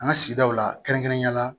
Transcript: An ka sigidaw la kɛrɛnkɛrɛnnenya la